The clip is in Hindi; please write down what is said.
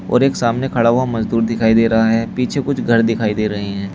और एक सामने खड़ा हुआ मजदूर दिखाई दे रहा है पीछे कुछ घर दिखाई दे रहे हैं।